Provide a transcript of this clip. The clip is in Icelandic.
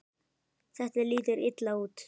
Þetta lítur illa út.